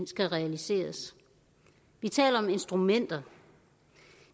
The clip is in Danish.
skal realiseres vi taler om instrumenter